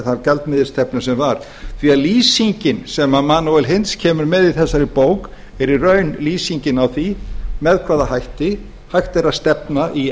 þá gjaldmiðilsstefnu sem var því að lýsingin sem manuel eins kemur með í þessari bók er í raun lýsingin á því með hvaða hætti hægt er að stefna í